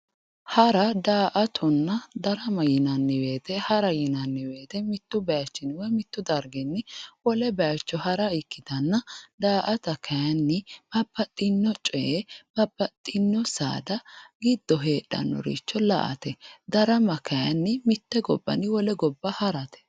Hara ,daa"attonna ,darama yinanni woyte hara yinanni woyte mitu darginni woyi mitu bayichinni wole bayicho hara ikkittanna daa"atta kayinni babbaxxino coye babbaxxino saada giddo heedhanoricho la"ate, darama kayinni mite gobbanni wole gobba harate.